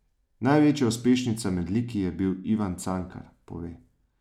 Največja uspešnica med liki je bil Ivan Cankar, pove.